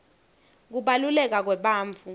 kubaluleka kwebantfu